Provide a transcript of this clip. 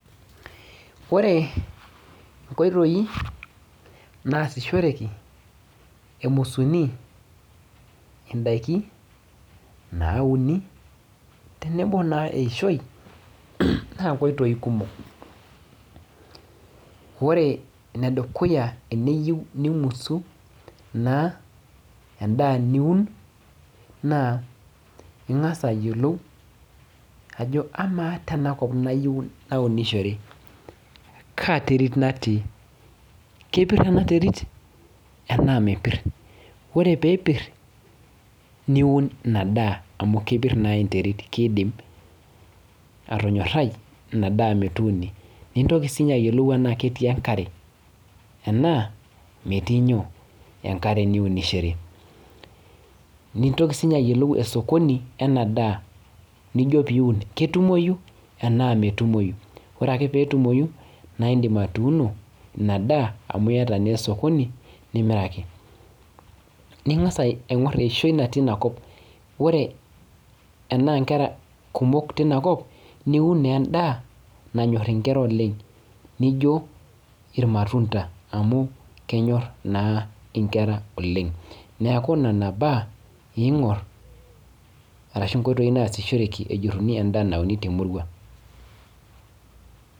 Ore nkoitoi nasishoreki ee musuni edaiki nauni tenebo naa eyishoi naa nkoitoi kumok ore enedukuya teniyieu nimusu endaa niun naa engas ayiolou Ajo ama tenakop anunishore Kaa terit natii kepir en terit enaa mepir ore pee epir niun ena daa amu kepir naa enterit kidim atonyorai enaa daa metumi nintoki ayiolou tenaa ketii enkare enaa metii enkare niunishore nintoki ayiolou [osokoni Lena saa nijo pee Eun ketumoyi tenaa netumoki ore akee lee etumoi naa edim atuno ena daa amu ayata naa osokoni nimiraki ningas aing'or eyishoi natii enakop ore ena Nkera kumok niun naa endaa nanyor enkera oleng naijio irmatunda amu kenyor naa enkera oleng neeku Nena mbaa eingoruni ashu nkoitoi nasishoreki ajuruni endaa nauni tee murua